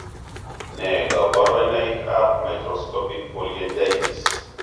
Ne kaborunoik ab microscopic polyangiitis?